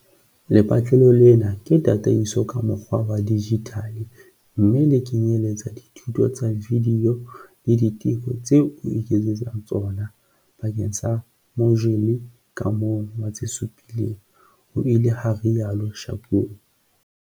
"Lepatlelo lena ke tataiso ka mokgwa wa dijithale mme le kenyeletsa dithuto tsa vidiyo le diteko tseo o iketsetsang tsona bakeng sa mojule ka mong wa tse supileng," ho ile ha rialo Shakung.